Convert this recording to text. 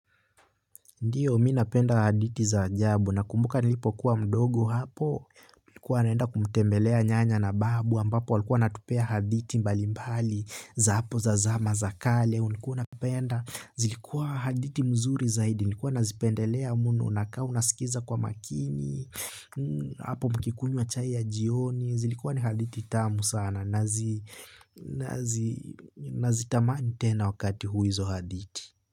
Ndiyo, mimi napenda hadithi za ajabu nakumbuka nilipo kuwa mdogo hapo, nikuwa naenda kumtembelea nyanya na babu ambapo walikuwa wanatupea hadithi mbali mbali za hapo za zama za kale ulikuwa unapenda, zilikuwa hadithi mzuri zaidi, nikuwa nazipendelea mno, unakaa unasikiza kwa makini hapo mkikunywa chai ya jioni, zilikuwa ni hadithi tamu sana, nazitamani tena wakati huu hizo hadithi.